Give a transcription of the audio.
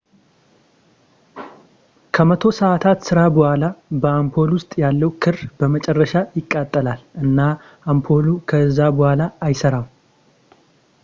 ከመቶ ሰዓታት ሥራ በኋላ በአምፖል ውስጥ ያለው ክር በመጨረሻ ይቃጠላል እና አምፖሉ ከእዛ በዋላ አይሠራም